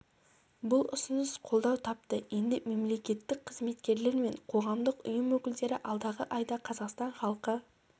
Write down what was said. бұл ұсыныс қолдау тапты енді мемлекеттік қызметкерлер мен қоғамдық ұйым өкілдері алдағы айда қазақстан халқы